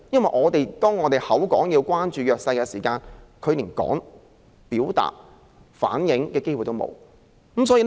我們豈可嘴裏說要關心弱勢人士，但他們卻連表達和反映意見的機會也沒有？